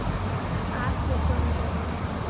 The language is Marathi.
अॅप स्विच ऑन कर